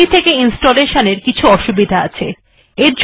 CD থেকে installation এর কিছু অসুবিধা আছে